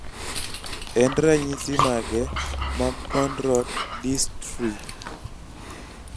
en ranyisi mage mag Cone rod dystrphy?